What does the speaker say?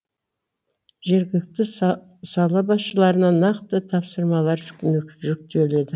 жергілікті сала басшыларына нақты тапсырмалар жүктеледі